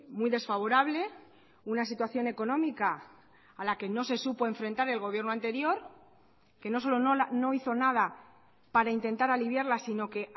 muy desfavorable una situación económica a la que no se supo enfrentar el gobierno anterior que no solo no hizo nada para intentar aliviarla sino que